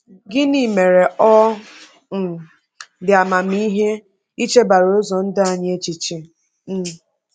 Gịnị mere ọ um dị amamihe ichebara ụzọ ndụ anyị echiche? um